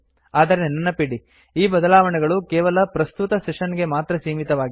ಆದರೆ ನೆನಪಿಡಿ ಈ ಬದಲಾವಣೆಗಳು ಕೇವಲ ಪ್ರಸ್ತುತ ಸೆಶನ್ ಗೆ ಮಾತ್ರ ಸೀಮಿತವಾಗಿದೆ